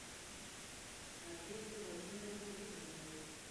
надеждой владимировной литвиновой